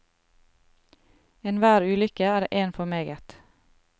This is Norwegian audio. Enhver ulykke er én for meget.